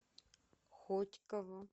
хотьково